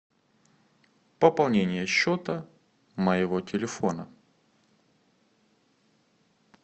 пополнение счета моего телефона